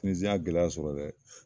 Tinizi n ye gɛlɛya sɔrɔ dɛ